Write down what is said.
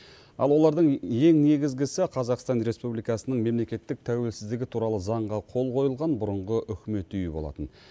ал олардың ең негізгісі қазақстан республикасының мемлекеттік тәуелсіздігі туралы заңға қол қойылған бұрынғы үкімет үйі болатын